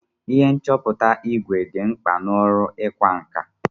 Ihe nchọpụta ìgwè dị mkpa n'ọrụ ịkwa nkà.